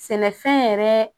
Sɛnɛfɛn yɛrɛ